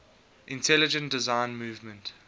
intelligent design movement